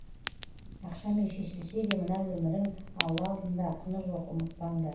ақшамен шешілсе де мына өмірің алла алдында құны жоқ ұмытпаңдар